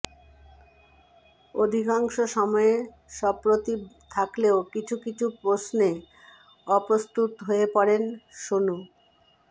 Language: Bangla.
অধিকাংশ সময়ে সপ্রতিভ থাকলেও কিছু কিছু প্রশ্নে অপ্রস্তুত হয়ে পড়েন সোনু